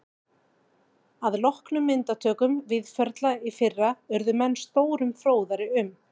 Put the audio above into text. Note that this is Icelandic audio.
Að loknum myndatökum Víðförla í fyrra urðu menn stórum fróðari um